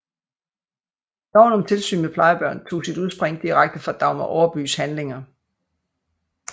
Loven om tilsyn med plejebørn tog sit udspring direkte fra Dagmar Overbys handlinger